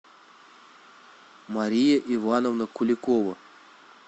мария ивановна куликова